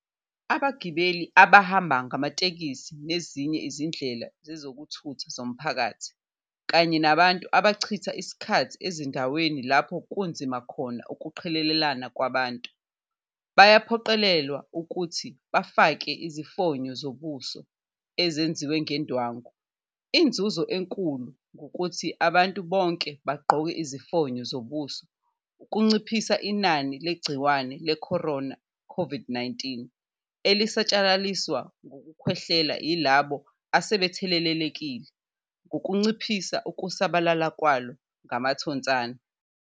Abagibeli abahamba ngamatekisi nezinye izindlela zezokuthutha zomphakathi, kanye nabantu abachitha isikhathi ezindaweni lapho kunzima khona ukuqhelelana kwabantu, bayaphoqelelwa ukuthi bafake izifonyo zobuso ezenziwe ngendwangu. Inzuzo enkulu ngokuthi abantu bonke bagqoke izifonyo zobuso ukunciphisa inani legciwane le-corona, COVID-19, elisatshalaliswa ngokukhwehlela yilabo asebethelelekile ngokunciphisa ukusabalala kwalo ngamathonsana.